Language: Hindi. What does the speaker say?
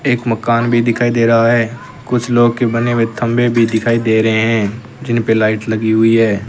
एक मकान भी दिखाई दे रहा है कुछ लोहे के बने हुए थंभे भी दिखाई दे रहे हैं जिनपे लाइट लगी हुई है।